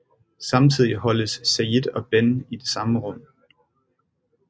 Samtidig holdes Sayid og Ben i det samme rum